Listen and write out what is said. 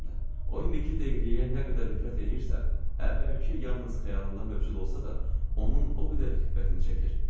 O indiki deqriyəyə nə qədər nifrət eləyirsə, əvvəlki yalnız xəyalında mövcud olsa da, onun o qədər xiffətini çəkir.